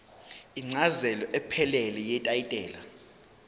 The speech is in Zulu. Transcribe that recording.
incazelo ephelele yetayitela